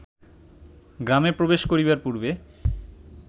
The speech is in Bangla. গ্রামে প্রবেশ করিবার পূর্বে